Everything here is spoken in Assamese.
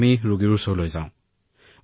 আমি দুবছৰ ধৰি এই কাম অব্যাহত ৰাখিছো